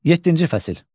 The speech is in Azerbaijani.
Yeddinci fəsil.